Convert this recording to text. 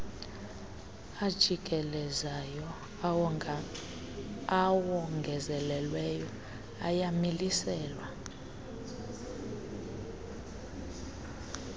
ajikelezayo awongezelelweyo ayamiliselwa